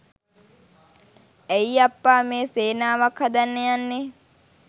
ඇයි අප්පා මේ සේනාවක් හදන්න යන්නේ.